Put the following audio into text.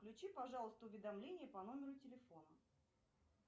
включи пожалуйста уведомление по номеру телефона